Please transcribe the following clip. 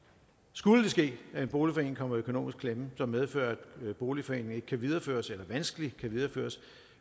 skulle det ske at en boligforening kommer i økonomisk klemme som medfører at boligforeningen ikke kan videreføres eller vanskeligt kan videreføres